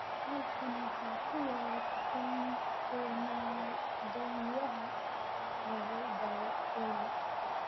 halkaan waxaa ku yaal dukaan doonyaha lagu gado olly